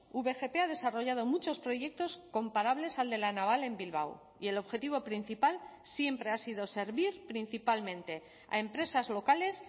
vgp ha desarrollado muchos proyectos comparables al de la naval en bilbao y el objetivo principal siempre ha sido servir principalmente a empresas locales